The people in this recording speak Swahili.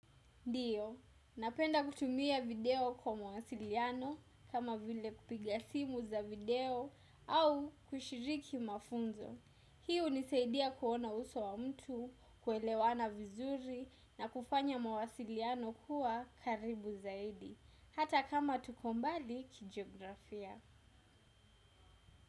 Ndio, napenda kutumia video kwa mawasiliano kama vile kupiga simu za video au kushiriki mafunzo. Hii hunisaidia kuona uso wa mtu, kuelewana vizuri na kufanya mawasiliano kuwa karibu zaidi hata kama tupo mbali kijiografia.